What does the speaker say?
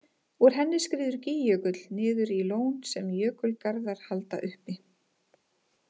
Úr henni skríður Gígjökull niður í lón sem jökulgarðar halda uppi.